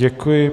Děkuji.